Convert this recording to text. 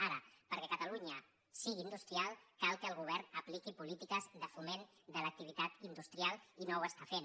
ara perquè catalunya sigui industrial cal que el govern apliqui polítiques de foment de l’activitat industrial i no ho està fent